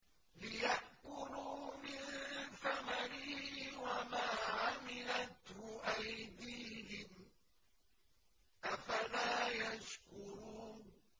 لِيَأْكُلُوا مِن ثَمَرِهِ وَمَا عَمِلَتْهُ أَيْدِيهِمْ ۖ أَفَلَا يَشْكُرُونَ